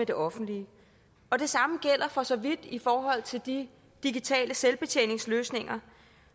det offentlige og det samme gælder for så vidt i forhold til de digitale selvbetjeningsløsninger